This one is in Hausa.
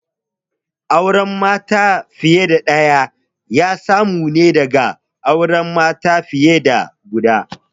Auren mata fiye da ɗaya ya samu ne daga auren mata fiye da guda